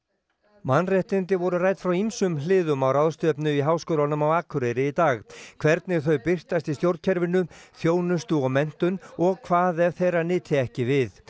mannréttindi voru rædd frá ýmsum hliðum á ráðstefnu í Háskólanum á Akureyri í dag hvernig þau birtast í stjórnkerfinu þjónustu og menntun og hvað ef þeirra nyti ekki við